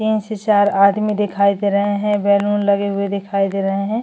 तीन से चार आदमी दिखाई दे रहे है बलून लगे हुए दिखाई दे रहे है।